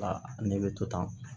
ne bɛ to tan